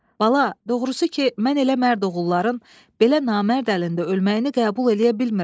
Bala, doğrusu ki mən elə mərd oğulların, belə namərd əlində ölməyini qəbul eləyə bilmirəm.